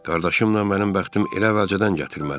Qardaşımla mənim bəxtim elə əvvəlcədən gətirmədi.